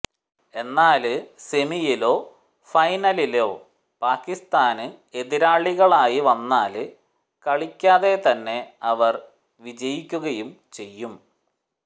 എന്നാല് സെമിയിലോ ഫൈനലിലോ പാക്കിസ്ഥാന് എതിരാളികളായി വന്നാല് കളിക്കാതെ തന്നെ അവര് വിജയിക്കുകയും ചെയ്യും